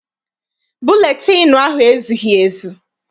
Buletịịnụ ahụ ezughị ezu.